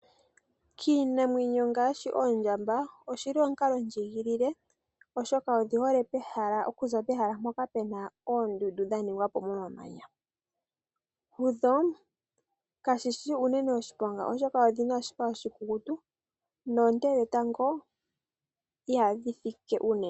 Kiinamwenyo ngaashi oondjamba oshili omukalo ndjigilile oshoka odhihole okuza pehala mpoka Pena oondundu dha ningwapo momamanya ,kudho kashishi unene oshiponga oshoka odhina oshipa oshikukutu noonte dhetango ihadhi fike unene.